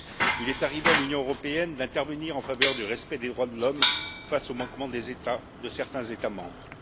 Il est arrivé à l'Union européenne d'intervenir en faveur du respect des droits de l'homme face aux manquements de certains États membres.